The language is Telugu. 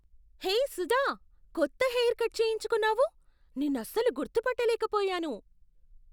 హేయ్ సుధా, కొత్త హెయిర్ కట్ చేయించుకున్నావు! నిన్నసలు గుర్తుపట్ట లేకపోయాను!